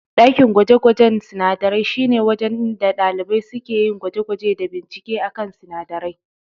Ɗakin gwaje-gwajen sinadarai shi ne wajen da ɗalibai suke yin gwaje-gwaje da binkice a kan sinadarai.